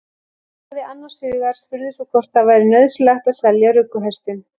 Játaði annars hugar, spurði svo hvort það væri nauðsynlegt að selja rugguhestinn.